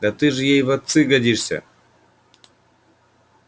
да ты же ей в отцы годишься